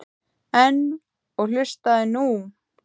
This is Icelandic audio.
En. og hlustaðu nú